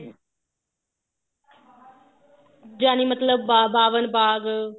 ਜਾਨੀ ਮਤਲਬ ਬਾ ਬਾਵਨ ਬਾਗ